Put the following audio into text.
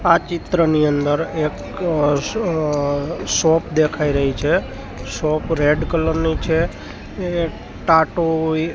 આ ચિત્રની અંદર એક શોપ દેખાય રહી છે શોપ રેડ કલર ની છે એ ટાટો હોય --